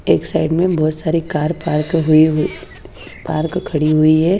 एक साइड में बहोत सारी कार पार्क होई हुई पार्क खड़ी हुई है।